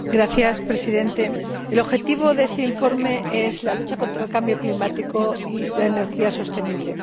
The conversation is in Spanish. Señor Presidente, el objetivo de este informe es la lucha contra el cambio climático y la energía sostenible.